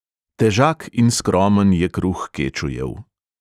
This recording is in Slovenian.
Težak in skromen je kruh kečujev.